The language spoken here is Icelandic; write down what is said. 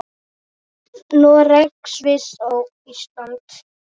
Noreg, Sviss og Ísland.